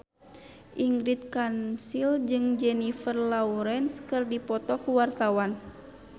Ingrid Kansil jeung Jennifer Lawrence keur dipoto ku wartawan